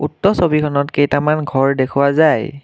উক্ত ছবিখনত কেইটামান ঘৰ দেখুওৱা যায়।